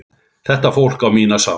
Þetta fólk á mína samúð.